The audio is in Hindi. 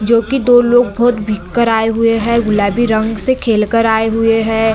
जोकि दो लोग बोहोत भींग कर आए हुए हैं गुलाबी रंग से खेल कर आए हुए हैं।